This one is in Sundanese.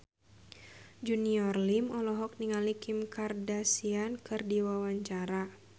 Junior Liem olohok ningali Kim Kardashian keur diwawancara